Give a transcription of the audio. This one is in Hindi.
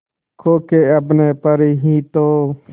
खो के अपने पर ही तो